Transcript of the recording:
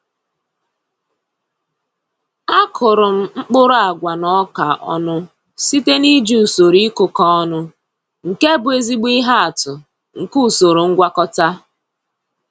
A kụrụ m mkpụrụ agwa na ọka ọnụ site n’iji usoro ịkụkọ ọnụ, nke bụ ezigbo ihe atụ nke usoro ngwakọta.